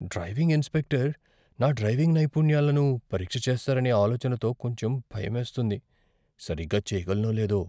Driving instructor నా driving నైపుణ్యాలను పరీక్ష చేస్తారనే ఆలోచనతో కొంచెం భయమేస్తుంది. సరిగ్గా చెయ్యగలనో లేదో.